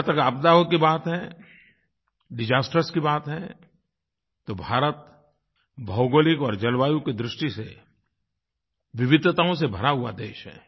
जहाँ तक आपदाओं की बात है डिसास्टर्स की बात है तो भारत भौगोलिक और जलवायु की दृष्टि से विविधताओं से भरा हुआ देश है